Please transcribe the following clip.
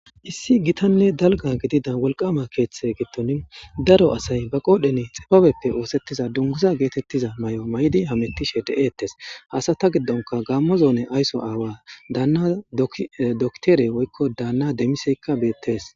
issi gitanne dalga gidida wolqama keeththe gitton daro asay ba qoodheni xibabeppe oosettiza dunguza geetettiza may7o may7di hamettishe de7eettes hasata giddonka gaammo zoone ayso aawa daanna doktere woykko daanna demiseykka beettes